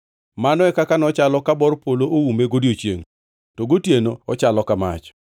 Mano e kaka nochalo ka bor polo oume godiechiengʼ to gotieno ochalo ka mach.